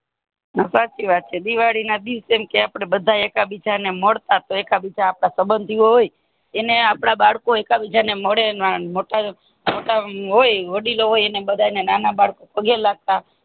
ના સાચી વાત છે દિવાળી ના દિવશે એમ કે બાધા એકા બીજા મળતા એકા બીજા આપણા સબંધી હોય એને આપણા બાળકો હોય એકા બીજા મળે અને મોટા હોય અને વડીલો હોય અને નાના બાળકો પગે લાગતા